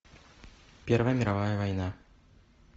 первая мировая война